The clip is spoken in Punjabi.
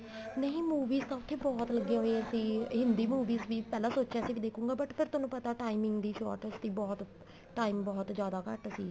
ਨਹੀਂ movies ਤਾਂ ਉੱਥੇ ਬਹੁਤ ਲੱਗੀਆ ਹੋਈਆਂ ਸੀ ਹਿੰਦੀ movies ਨੇ ਪਹਿਲਾਂ ਸੋਚਿਆ ਸੀ ਦੇਖੁਗਾ but ਫੇਰ ਤੁਹਾਨੂੰ ਪਤਾ timing ਦੀ shortage ਸੀ ਬਹੁਤ time ਬਹੁਤ ਜਿਆਦਾ ਘੱਟ ਸੀ